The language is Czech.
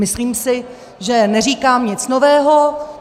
Myslím si, že neříkám nic nového.